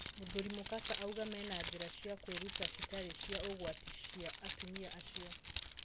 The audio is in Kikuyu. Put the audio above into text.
Mũthuri Mukasa auga mena njĩra cia kwĩruta citarĩ cia ũgwati cia atumia acio.